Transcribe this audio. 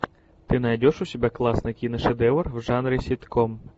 ты найдешь у себя классный киношедевр в жанре ситком